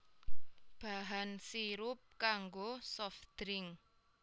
Bahan sirup kanggo soft drink